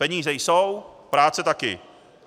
Peníze jsou, práce také.